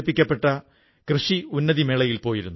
നാമിപ്പോൾ പൊൻ മാരിയപ്പനോടു സംസാരിച്ചു